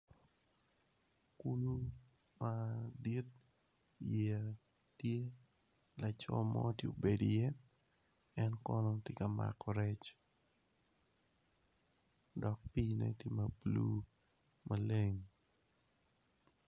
Kulu madit yeya tye laco mo tye obedo iye en tye ka mako rec dok pii tye